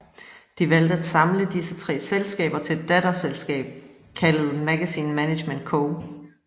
De valgte at samle disse tre selskaber til et datterselskab kaldet Magazine Management Co